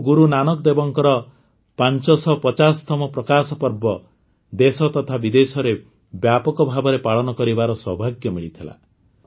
ଆମକୁ ଗୁରୁ ନାନକଦେବଙ୍କର ୫୫୦ତମ ପ୍ରକାଶପର୍ବ ଦେଶ ତଥା ବିଦେଶରେ ବ୍ୟାପକ ଭାବରେ ପାଳନ କରିବାର ସୌଭାଗ୍ୟ ମିଳିଥିଲା